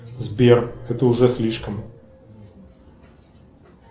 сбер это уже слишком